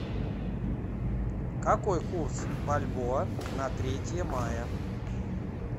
какой курс бальбоа на третье мая